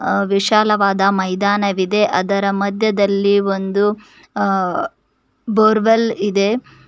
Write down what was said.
ಆ ವಿಶಾಲವಾದ ಮೈದಾನವಿದೆ ಅದರ ಮಧ್ಯದಲ್ಲಿ ಒಂದು ಆ ಬೋರ್ವೆಲ್ ಇದೆ.